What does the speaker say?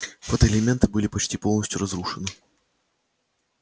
фотоэлементы были почти полностью разрушены